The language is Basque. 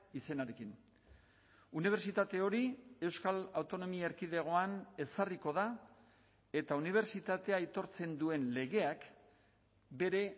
izenarekin unibertsitate hori euskal autonomia erkidegoan ezarriko da eta unibertsitatea aitortzen duen legeak bere